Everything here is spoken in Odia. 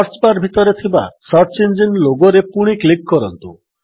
ସର୍ଚ୍ଚ ବାର୍ ଭିତରେ ଥିବା ସର୍ଚ୍ଚ ଇଞ୍ଜିନ୍ ଲୋଗୋରେ ପୁଣି କ୍ଲିକ୍ କରନ୍ତୁ